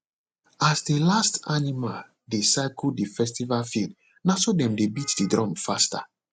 as the last animal dey circle the festival field na so dem dey beat the drum faster